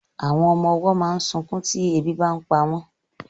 Àwọn ọmọ ọwọ́ máa ń sunkún tí ebi bàa ń pa wọn